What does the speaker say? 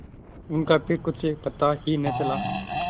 उनका फिर कुछ पता ही न चला